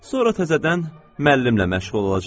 Sonra təzədən müəllimlə məşğul olacağam.